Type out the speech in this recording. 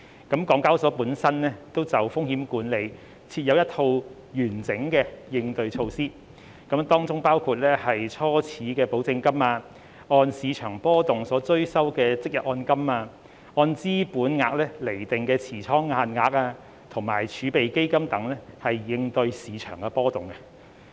港交所本身就風險管理設有一套完整的應對措施，當中包括初始保證金、按市場波動所追收的即日按金、按資本額釐定的持倉限額及儲備基金等，以應對市場波動。